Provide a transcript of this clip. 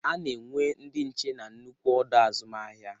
Ana enwe ndị nche n'nnukwu ọdọ azụmahịa.